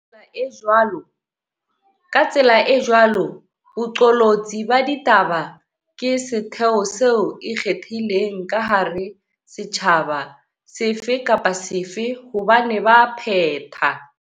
Ka tsela e jwalo, boqolotsi ba ditaba ke setheo se ikgethileng ka hara setjhaba sefe kapa sefe hobane baphetha.